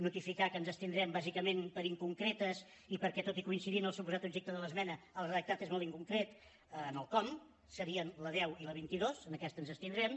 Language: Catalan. notificar que ens abstindrem bàsicament per inconcretes i perquè tot i coincidir en el suposat objecte de l’esmena el redactat és molt inconcret en el com serien la deu i la vint dos en aquesta ens abstindrem